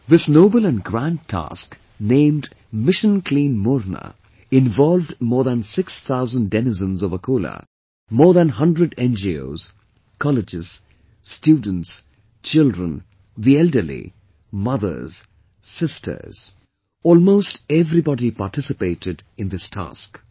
This noble and grand task named Mission Clean Morna involved more than six thousand denizens of Akola, more than 100 NGOs, Colleges, Students, children, the elderly, mothers, sisters, almost everybody participated in this task